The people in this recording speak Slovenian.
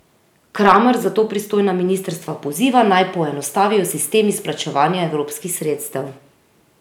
Kramar zato pristojna ministrstva poziva, naj poenostavijo sistem izplačevanja evropskih sredstev.